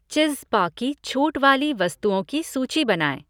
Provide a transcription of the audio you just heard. चिज़्ज़पा की छूट वाली वस्तुओं की सूची बनाएँ।